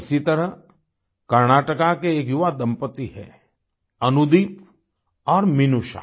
इसी तरह कर्नाटका के एक युवा दंपति हैं अनुदीप और मिनूषा